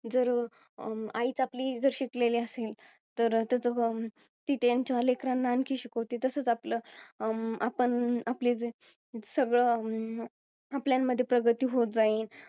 जर अं आईच आपली शिकलेली असेल, तर त्याच ती त्यांच्या लेकरांना आणखी शिकवते. तसच आपलं, आपण. आपले, जे सगळं, अं आपल्यामध्ये प्रगती होत जाईल.